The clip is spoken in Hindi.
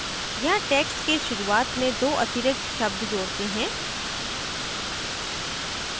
यहाँ text के शुरूआत में दो अतिरिक्त शब्द जोडते हैं